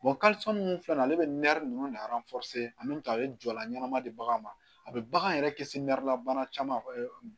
minnu filɛ nin ye ale bɛ nɛri ninnu ka a ye jɔyɔrɔ ɲɛnama di bagan ma a bɛ bagan yɛrɛ kɛ se nɛrɛla bana caman